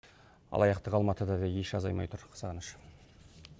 алаяқтық алматыда да еш азаймай тұр сағыныш